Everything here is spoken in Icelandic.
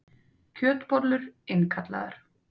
Kjötbollur innkallaðar